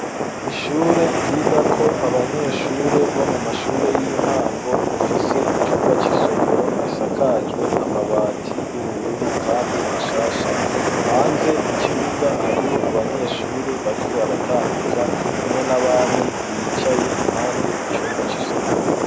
Ishure, ryigako abanyeshure, bo mu mashure y'intango; rifise icumba c'isomero, gisakajwe amabati, y'ubururu, kandi mashasha; hanze, mu kibuga, hariho abanyeshure, bariko baratambuka, hamwe n'abandi bicaye, impande y'icumba c'isomero.